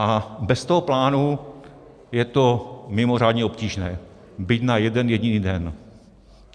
A bez toho plánu je to mimořádně obtížné byť na jeden jediný den.